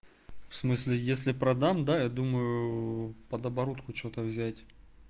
в смысле если продам да я думаю под оборотку что-то взять